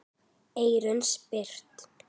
Eyrun sperrt.